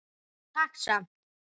Takk samt.